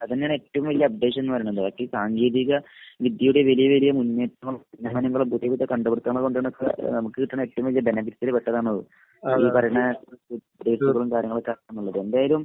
അതെന്നേണ് ഏറ്റവും വലിയ അപ്‌ഡേഷൻന്ന് പറയുന്നത്. ഒക്കെ സാങ്കേതിക വിദ്യയുടെ വലിയ വലിയ മുന്നേറ്റങ്ങളും ഉന്നമനങ്ങളും പുതിയ പുതിയ കണ്ടുപിടിത്തങ്ങളും ഒക്കെ കൊണ്ട് തന്നെ നമുക് കിട്ടുന്ന ഏറ്റവും വലിയ ബെനിഫിറ്റിൽ പെട്ടതാണ് അത്.. ഈ പറയിണ ഉയർച്ചകളും കാര്യങ്ങളൊക്കെ ആക്കാന്നുള്ളത്. എന്തായാലും